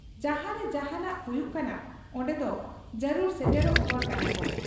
ᱡᱟᱦᱟᱸᱨᱮ ᱡᱟᱦᱟᱱᱟᱜ ᱦᱩᱭᱩᱜ ᱠᱟᱱᱟ ᱚᱱᱰᱮᱫᱚ ᱡᱟᱹᱨᱩᱲ ᱥᱮᱴᱮᱨᱚᱜ ᱦᱚᱲ ᱠᱟᱱᱟᱠᱚ ᱾